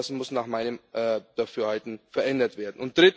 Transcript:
Das muss nach meinem Dafürhalten verändert werden.